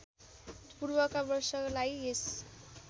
पूर्वका वर्षलाई यस